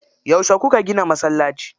Yauce kuka gina masallaci?